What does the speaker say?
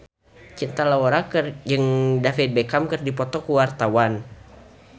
Cinta Laura jeung David Beckham keur dipoto ku wartawan